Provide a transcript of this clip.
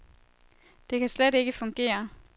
Det kan slet ikke fungere.